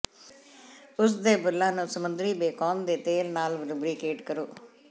ਉਸ ਦੇ ਬੁੱਲ੍ਹਾਂ ਨੂੰ ਸਮੁੰਦਰੀ ਬੇਕੋਨ ਦੇ ਤੇਲ ਨਾਲ ਲੁਬਰੀਕੇਟ ਕਰੋ